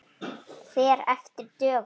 Fer eftir dögum.